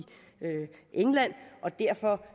england og derfor